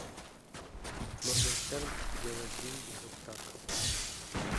моргенштерн делать деньги вот так